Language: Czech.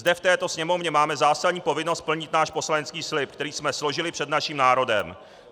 Zde v této Sněmovně máme zásadní povinnost splnit náš poslanecký slib, který jsme složili před naším národem.